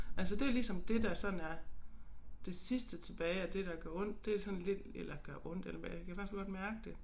Altså det ligesom det der sådan er det sidste tilbage af det der gør ondt det sådan lidt eller gør ondt eller hvad jeg kan i hvert fald godt mærke det